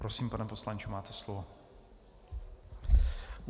Prosím, pane poslanče, máte slovo.